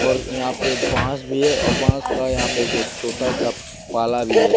और यहाँ पे बांस भी है और बांस का यहाँ पे कुछ छोटा सा पाला भी है।